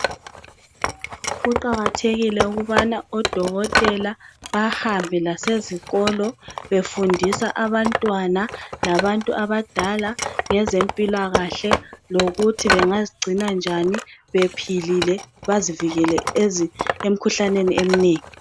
Kuqakathekile ukubana odokotela bahambe lasezikolo befundisa abantwana labantu abadala ngezempila kahle lokuthi bengazigcina njani bephilile bezivikele emikhuhlaneni eminengi.